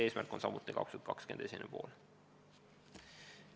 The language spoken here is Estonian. Tähtaeg on samuti 2020. aasta esimene pool.